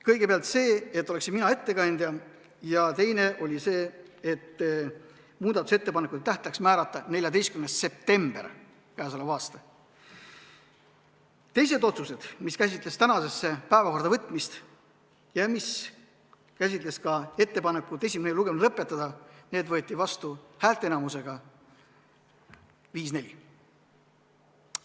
Kõigepealt see, et mina oleksin ettekandja, ja teine oli see, et muudatusettepanekute esitamise tähtajaks määrata 14. september k.a. Teised otsused, mis käsitlesid päevakorda võtmist ja ka ettepanekut esimene lugemine lõpetada, võeti vastu häälteenamusega 5 : 4.